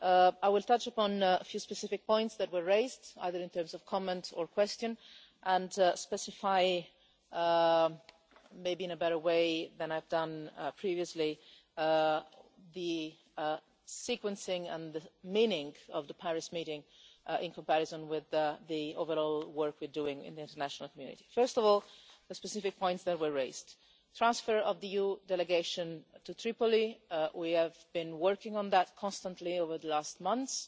I will touch upon a few specific points that were raised either in comments or questions, and specify, maybe in a better way than I've done previously, the sequencing and the meaning of the Paris meeting in relation to the overall work we are doing in the international community. First of all, the specific points that were raised transfer of the EU delegation to Tripoli. We have been working on that constantly over the last months